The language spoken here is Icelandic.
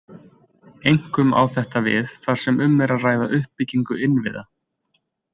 Einkum á þetta við þar sem um er að ræða uppbyggingu innviða.